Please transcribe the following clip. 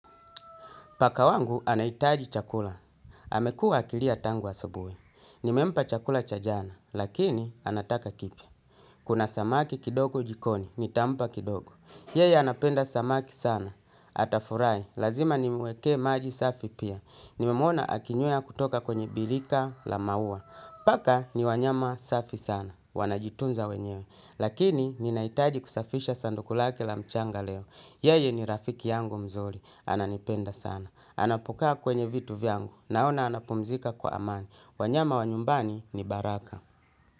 Paka wangu anahitaji chakula. Amekuwa akilia tangu asubuhi. Nimempa chakula cha jana, lakini anataka kipya. Kuna samaki kidogo jikoni, nitampa kidogo. Yeye anapenda samaki sana. Atafurahi, lazima nimuwekee maji safi pia. Nimemwona akinyweya kutoka kwenye birika la maua. Paka ni wanyama safi sana, wanajitunza wenyewe. Lakini ninahitaji kusafisha sanduku lake la mchanga leo. Yeye ni rafiki yangu mzuri, ananipenda sana. Anapokaa kwenye vitu vyangu. Naona anapumzika kwa amani. Wanyama wa nyumbani ni baraka.